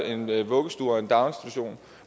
en vuggestue og en daginstitution